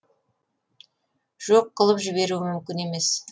жоқ қылып жіберу мүмкін емес